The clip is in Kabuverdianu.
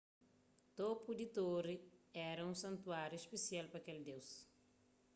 topu di tori éra un santuáriu spesial pa kel deus